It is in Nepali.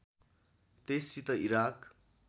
त्यससित इराक